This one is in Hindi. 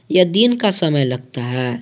यह दिन का समय लगता है।